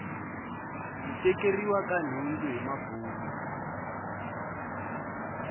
ku tekeriwa ka nhundzu hi mabuni